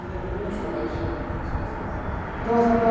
É, termina essa parte.ermina essa parte.ó essa parte, daí...ntão, essa parte...